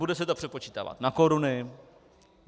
Bude se to přepočítávat na koruny?